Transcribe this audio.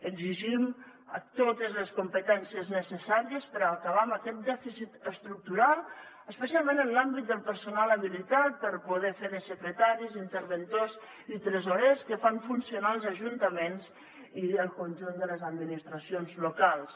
exigim totes les competències necessàries per acabar amb aquest dèficit estructural especialment en l’àmbit del personal habilitat per poder fer de secretaris interventors i tresorers que fan funcionar els ajuntaments i el conjunt de les administracions locals